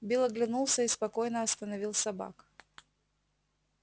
билл оглянулся и спокойно остановил собак